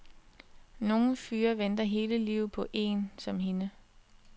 Nogle fyre venter hele livet på én som hende.